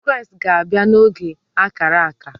Kraịst ga-abịa n’oge ákárà ákà